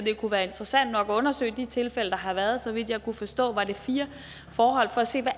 kunne være interessant nok at undersøge de tilfælde der har været så vidt jeg kunne forstå var det fire forhold for at se hvad